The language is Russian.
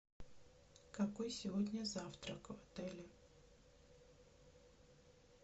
какой сегодня завтрак в отеле